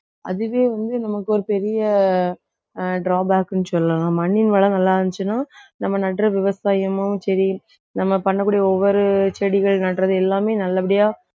அதுவே வந்து நமக்கு ஒரு பெரிய ஆஹ் drawback ன்னு சொல்லலாம். மண்ணின் வளம் நல்லா இருந்துச்சுன்னா நம்ம நடுற விவசாயமும் சரி நம்ம பண்ணக்கூடிய ஒவ்வொரு செடிகள் நடுறது எல்லாமே நல்லபடியா